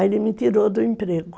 Aí ele me tirou do emprego.